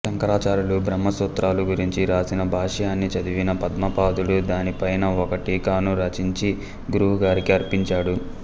శంకరాచార్యులు బ్రహ్మసూత్రాల గురించి వ్రాసిన భాష్యాన్ని చదివిన పద్మపాదుడు దాని పైన ఒక టీకాను రచించి గురువుగారికి అర్పించాడు